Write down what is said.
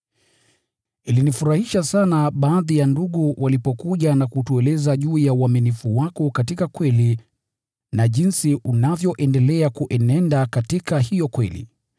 Ilinifurahisha sana baadhi ya ndugu walipokuja na kutueleza juu ya uaminifu wako katika kweli na jinsi unavyoendelea kuenenda katika hiyo kweli.